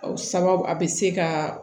Aw sababu a bɛ se ka